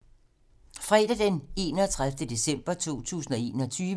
Fredag d. 31. december 2021